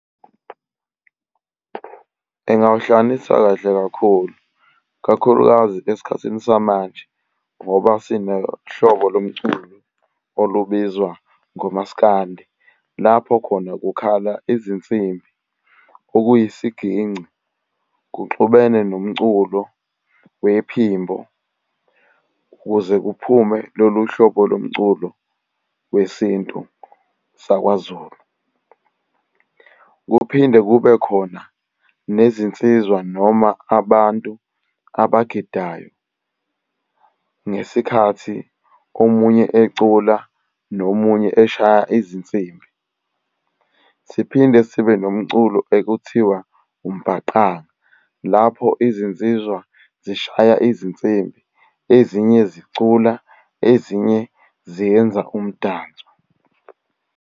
Engawuhlanganisa kahle kakhulu, kakhulukazi esikhathini samanje ngoba sinohlobo lomculo olubizwa ngomasikandi. Lapho khona kukhala izinsimbi okuyisiginci kuxhumene nomculo nephimbo ukuze kuphume lolu hlobo lomculo wesintu sakwaZulu. Kuphinde kube khona nezinsizwa noma abantu abagidayo ngesikhathi omunye ecula nomunye eshaya izinsimbi. Siphinde sibe nomculo ekuthiwa umbhaqanga. Lapho izinsizwa zishaya izinsimbi, ezinye zicula ezinye ziyenza umdanso.